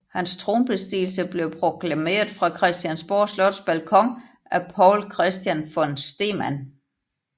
Hans tronbestigelse blev proklameret fra Christiansborg Slots balkon af Poul Christian von Stemann